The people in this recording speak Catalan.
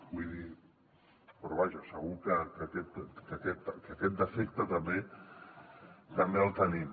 vull dir però vaja segur que aquest defecte també el tenim